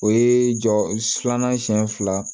O ye jɔ filanan siyɛn fila